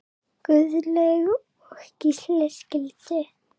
Guðlaug og Gísli skildu.